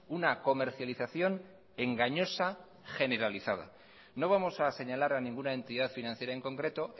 una comercialización engañosa generalizada no vamos a señalar a ninguna entidad financiera en concreto